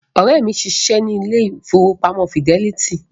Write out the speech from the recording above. Ọ̀rẹ́ mi ń ṣiṣẹ́ ní ilé ìfowópamọ́ fidẹ́lítì